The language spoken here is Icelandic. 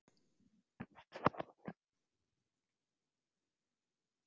Það var fluga að stanga í gluggarúðuna, suðaði og spriklaði, stór hlussa.